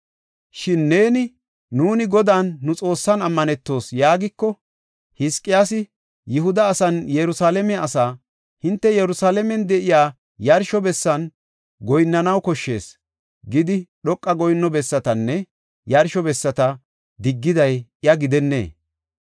Shin neeni, “Nuuni Godan nu Xoossan ammanetoos” yaagiko, Hizqiyaasi, Yihuda asaanne Yerusalaame asaa, “Hinte Yerusalaamen de7iya yarsho bessan goyinnanaw koshshees” gidi, dhoqa goyinno bessatanne yarsho bessata diggiday iya gidennee?